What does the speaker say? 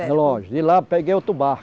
É longe, de lá eu peguei outro